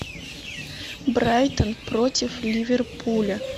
брайтон против ливерпуля